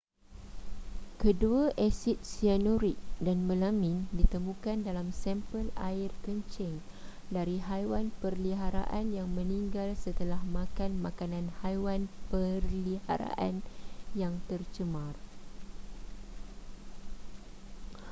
kedua asid sianurik dan melamin ditemukan dalam sampel air kencing dari haiwan peliharaan yang meninggal setelah makan makanan haiwan peliharaan yang tercemar